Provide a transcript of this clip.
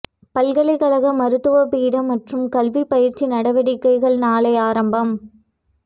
பல்கலைக்கழக மருத்துவ பீட மற்றும் கல்வி பயிற்சி நடவடிக்கைகள் நாளை ஆரம்பம்